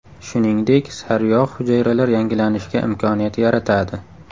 Shuningdek, sariyog‘ hujayralar yangilanishiga imkoniyat yaratadi.